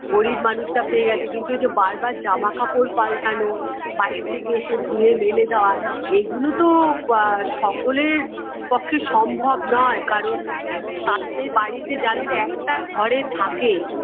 গরীব মানুষরা পেয়ে গেছে কিন্তু এই যে বারবার জামাকাপড় পাল্টানো বাইরে থেকে এসে ধুয়ে মেলে দেওয়া এগুলো তো আ সকলের পক্ষে সম্ভব নয় কারণ তাতে বাড়িতে যাদের একটা ঘরে থাকে